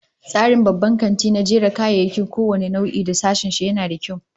Tsarin babban kanti na jera kayayyaki kowane nau'i da sashen shi, yana da kyau